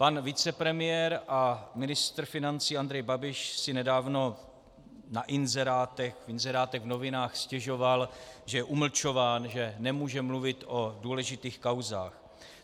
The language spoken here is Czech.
Pan vicepremiér a ministr financí Andrej Babiš si nedávno v inzerátech v novinách stěžoval, že je umlčován, že nemůže mluvit o důležitých kauzách.